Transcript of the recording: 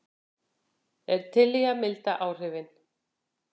Er til í að milda áhrifin